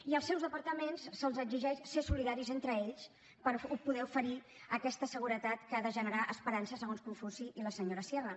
i als seus departaments se’ls exigeix ser solidaris entre ells per poder oferir aquesta seguretat que ha de generar esperança segons confuci i la senyora sierra